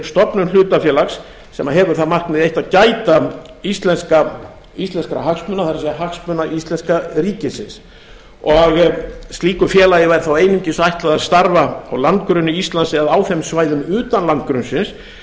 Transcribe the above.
stofnun hlutafélags sem hefur það markmið eitt að gæta íslenskra hagsmuna það er hagsmuna íslenska ríkisins og slíku félagi væri þá einungis ætlað að starfa á landgrunni íslands eða á þeim svæðum utan landgrunnsins